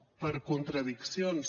per contradiccions